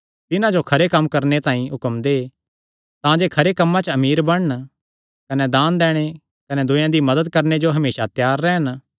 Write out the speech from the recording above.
तिन्हां जो खरे कम्म करणे तांई हुक्म दे तांजे खरे कम्मां च अमीर बणन कने दान दैणे कने दूयेयां दी मदत करणे जो हमेसा त्यार रैह़न